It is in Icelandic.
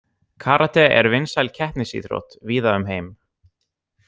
Karate er vinsæl keppnisíþrótt víða um heim.